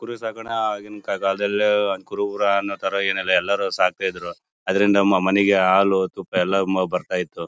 ಕುರಿ ಸಾಕೋಣ ಆಗಿನ ಕಾ ಕಾಲದಲ್ಲಿ ಕುರುಬರು ಅನ್ನೋ ತರ ಏನಿಲ್ಲ ಎಲ್ಲರು ಸಾಕ್ತಿದ್ರು ಅದರಿಂದ ನಮ್ಮ್ ಮನೆಗೆ ಹಾಲು ತುಪ್ಪ ಎಲ್ಲ ಬರ್ತಾ ಇತ್ತು.